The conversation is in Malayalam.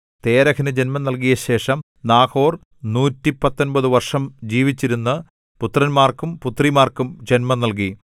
തേരഹിനു ജന്മം നൽകിയശേഷം നാഹോർ നൂറ്റിപ്പത്തൊമ്പതു വർഷം ജീവിച്ചിരുന്നു പുത്രന്മാർക്കും പുത്രിമാർക്കും ജന്മം നൽകി